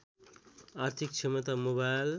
आर्थिक क्षमता मोबाइल